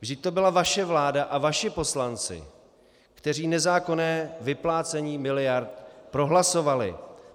Vždyť to byla vaše vláda a vaši poslanci, kteří nezákonné vyplácení miliard prohlasovali.